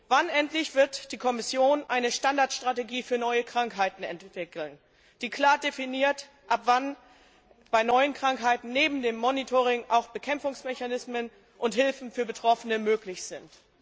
Wann endlich wird die Kommission eine Standardstrategie für neue Krankheiten entwickeln, die klar definiert, ab wann bei neuen Krankheiten neben dem Monitoring auch Bekämpfungsmechanismen und Hilfe für Betroffene möglich sind?